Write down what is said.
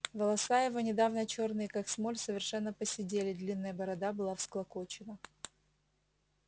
волоса его недавно чёрные как смоль совершенно поседели длинная борода была всклокочена